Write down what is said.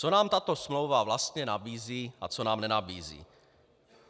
Co nám tato smlouva vlastně nabízí a co nám nenabízí.